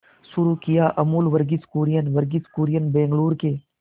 शुरू किया अमूल वर्गीज कुरियन वर्गीज कुरियन बंगलूरू के